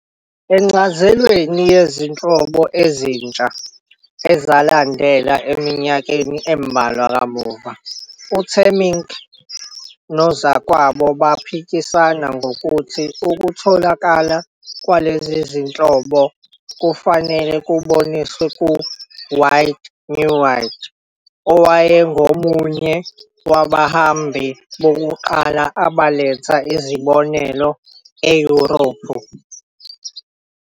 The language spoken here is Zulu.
Encazelweni yezinhlobo ezintsha ezalandela eminyakeni embalwa kamuva, uTemminck nozakwabo baphikisana ngokuthi ukutholakala kwalezi zinhlobo kufanele kuboniswe kuWied-Neuwied, owayengomunye wabahambi bokuqala abaletha izibonelo eYurophu.